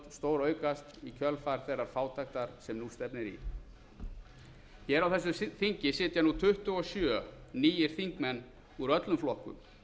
stóraukast í kjölfar þeirrar fátæktar sem nú stefnir í hér á þessu þingi sitja nú tuttugu og sjö nýir þingmenn úr öllum flokkum